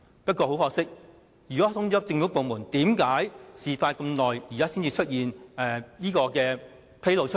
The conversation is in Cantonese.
不過，如果事件已通知政府部門，為甚麼事發數年後，現在才被披露出來？